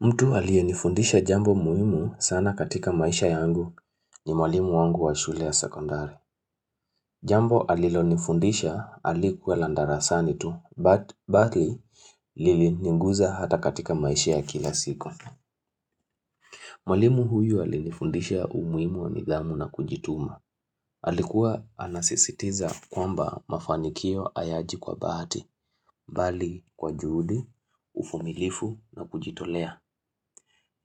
Mtu aliyenifundisha jambo muhimu sana katika maisha yangu ni mwalimu wangu wa shule ya sekondari. Jambo alilo nifundisha halikuwa la darasani tu, bali liliniguza hata katika maisha ya kila siku. Mwalimu huyu alinifundisha umuhimu wa nidhamu na kujituma. Alikuwa anasisitiza kwamba mafanikio hayaji kwa bahati, bali kwa juhudi, uvumilifu na kujitolea.